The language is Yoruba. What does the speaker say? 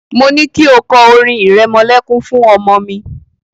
Mo ní kí o kọ orin ìrẹmọlẹ́kún fún ọmọ mi.